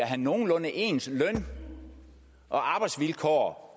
have nogenlunde ens løn og arbejdsvilkår